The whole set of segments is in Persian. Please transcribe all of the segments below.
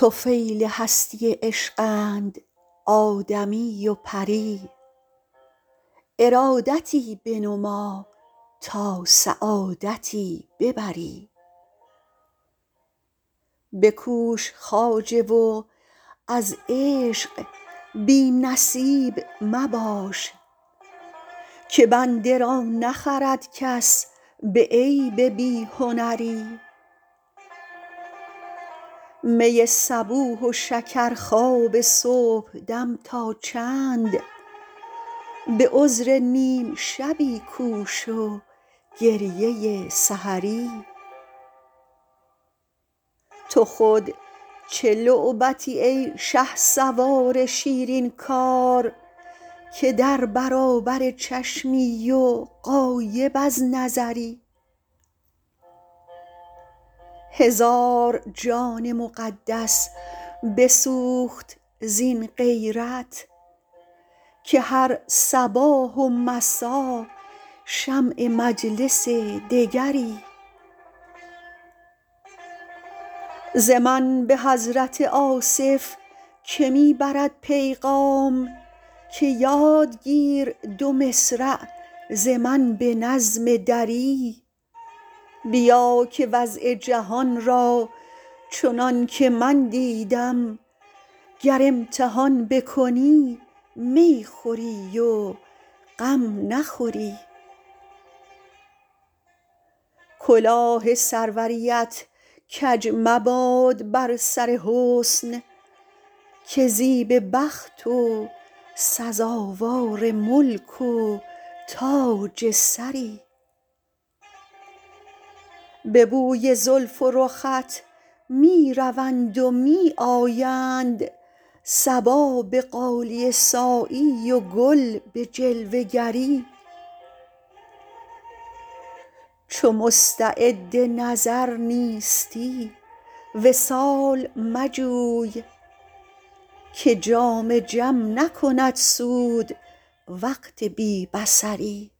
طفیل هستی عشقند آدمی و پری ارادتی بنما تا سعادتی ببری بکوش خواجه و از عشق بی نصیب مباش که بنده را نخرد کس به عیب بی هنری می صبوح و شکرخواب صبحدم تا چند به عذر نیم شبی کوش و گریه سحری تو خود چه لعبتی ای شهسوار شیرین کار که در برابر چشمی و غایب از نظری هزار جان مقدس بسوخت زین غیرت که هر صباح و مسا شمع مجلس دگری ز من به حضرت آصف که می برد پیغام که یاد گیر دو مصرع ز من به نظم دری بیا که وضع جهان را چنان که من دیدم گر امتحان بکنی می خوری و غم نخوری کلاه سروریت کج مباد بر سر حسن که زیب بخت و سزاوار ملک و تاج سری به بوی زلف و رخت می روند و می آیند صبا به غالیه سایی و گل به جلوه گری چو مستعد نظر نیستی وصال مجوی که جام جم نکند سود وقت بی بصری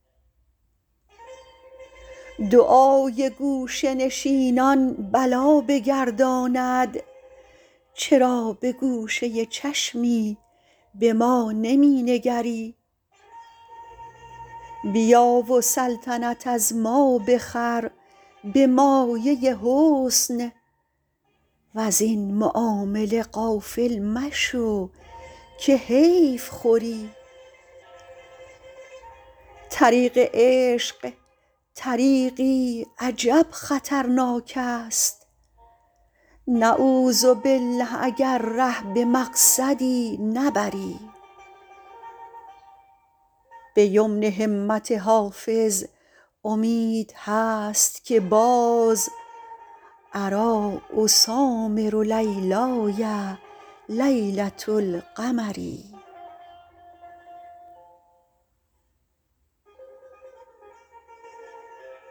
دعای گوشه نشینان بلا بگرداند چرا به گوشه چشمی به ما نمی نگری بیا و سلطنت از ما بخر به مایه حسن وزین معامله غافل مشو که حیف خوری طریق عشق طریقی عجب خطرناک است نعوذبالله اگر ره به مقصدی نبری به یمن همت حافظ امید هست که باز اریٰ اسامر لیلای لیلة القمری